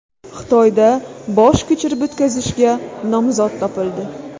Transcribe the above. Xitoyda bosh ko‘chirib o‘tkazishga nomzod topildi.